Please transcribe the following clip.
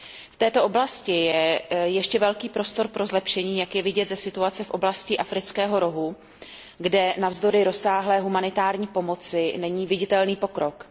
V této oblasti je ještě velký prostor pro zlepšení, jak je vidět ze situace v oblasti Afrického rohu, kde navzdory rozsáhlé humanitární pomoci není viditelný pokrok.